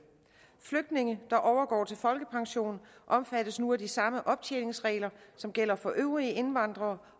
flygtninge der overgår til folkepension omfattes nu af de samme optjeningsregler som gælder for øvrige indvandrere